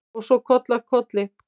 Og svo koll af kolli.